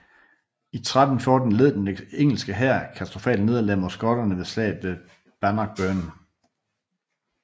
I 1314 led den engelske hær et katastrofalt nederlag mod skotterne under slaget ved Bannockburn